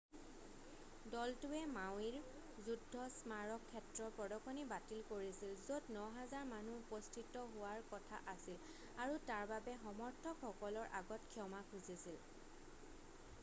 দলটোৱে মাৱিৰ যুদ্ধ স্মাৰক ক্ষেত্ৰৰ প্ৰদৰ্শনী বাতিল কৰিছিল য'ত 9,000 মানুহ উপস্থিত হোৱাৰ কথা আছিল আৰু তাৰ বাবে সমৰ্থকসকলৰ আগত ক্ষমা খুজিছিল